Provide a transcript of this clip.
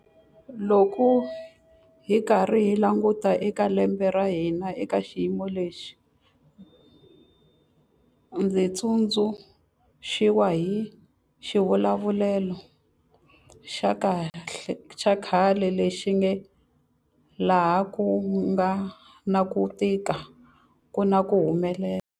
Loko hi karhi hi languta eka lembe ra hina eka xiyimo lexi, ndzi tsundzuxiwa hi xivulavulelo xa khale lexi nge 'laha ku nga na ku tika ku na ku humelela'.